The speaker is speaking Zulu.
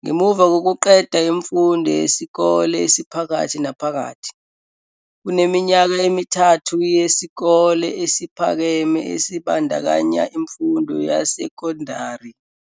Ngemuva kokuqeda imfundo yesikole esiphakathi naphakathi, kuneminyaka emithathu yesikole esiphakeme esibandakanya imfundo yesekondari.